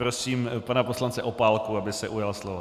Prosím pana poslance Opálku, aby se ujal slova.